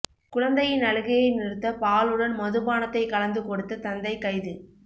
குழந்தையின் அழுகையை நிறுத்த பாலுடன் மதுபானத்தை கலந்து கொடுத்த தந்தை கைது